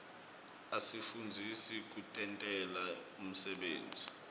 asifundzisa kutentela umsebenti